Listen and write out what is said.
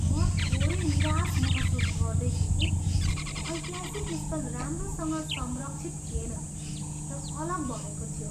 म थोरै निराश महसुस गर्दैछु कि ऐतिहासिक स्थल राम्रोसँग संरक्षित थिएन र अलग भएको थियो।